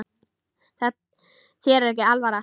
Þér er ekki alvara